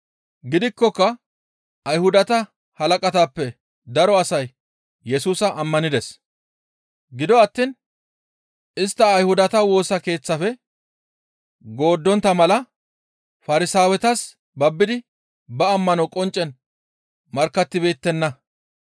Gidikkoka Ayhudata halaqatappe daro asay Yesusa ammanides. Gido attiin istta Ayhudata Woosa Keeththafe gooddontta mala Farsaawetas babbidi ba ammano qonccen markkattibeettenna.